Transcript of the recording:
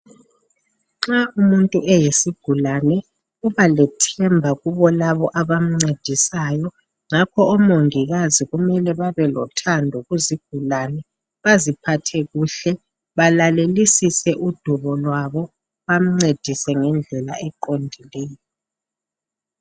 Nxa umuntu eyisigulane, uba lethemba kubonabo abamncedisayo ngakho omongikazi kumele babelothando kuzigulane, baziphathe kuhle balalelisise udubo lwabo bamncedise ngendlela eqondileyo.